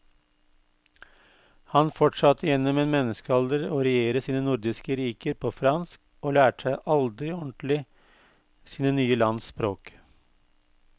Han fortsatte gjennom en menneskealder å regjere sine nordiske riker på fransk og lærte seg aldri ordentlig sine nye lands språk.